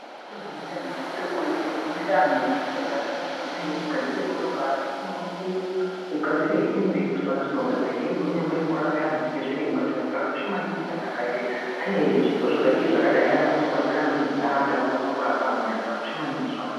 Zvikoro zvinoenda antu ati kure kure zvinenge zvinofundiswa zvipo kunge kugadzira motokari kunge kugadzira hembe kunyangwe kurape antu sezviremba zvinhu zvakakosha maningi kuti antu ane zvipo zvakadai anokwanisa kubatsira amweni kurape amweni zvakakosha maningi izvozvo.